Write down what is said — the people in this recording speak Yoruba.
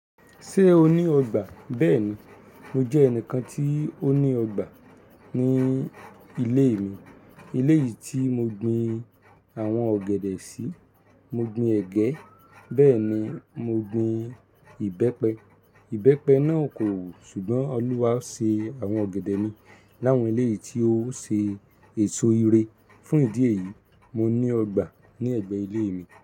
Ṣé o ní ọgbà? Bẹ́ẹ̀ni, mo jẹ́ ẹnìkan tí ó ní ọgbà ní ilé mi. Elé yìí tí mo gbin àwọn ọ̀gẹ̀dẹ̀ sí, mo gbin ẹ̀gẹ́, bẹ́ẹ̀ ni mo gbin ìbẹ́pẹ. Ìbẹ́pẹ náà kò wù, ṣùgbọ́n Olúwa ṣe àwọn ọ̀gẹ̀dẹ̀ mi láwọn elé yìí tí ó ṣe èso ire. Fún ìdí èyí, mo ní ọgbà ní ẹ̀gbẹ́ ilé mi.